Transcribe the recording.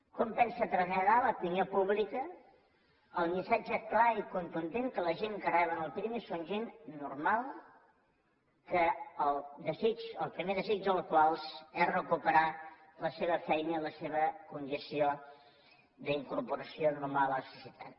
com pensen traslladar a l’opinió pública el missatge clar i contundent que la gent que reben el pirmi són gent normal el primer desig dels quals és recuperar la seva feina i la seva condició d’incorporació normal a la societat